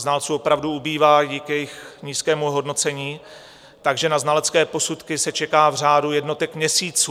Znalců opravdu ubývá díky jejich nízkému ohodnocení, takže na znalecké posudky se čeká v řádu jednotek měsíců.